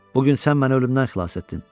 Bu gün sən məni ölümdən xilas etdin.